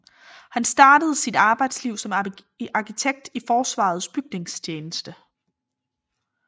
Han startede sit arbejdsliv som arkitekt i Forsvarets Bygningstjeneste